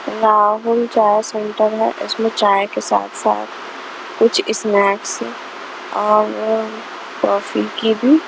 राहुल चाय सेंटर है इसमें चाय के साथ-साथ कुछ स्नैक्स और कॉफी की भी.